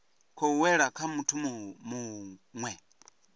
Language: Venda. khou wela kha muthu muwe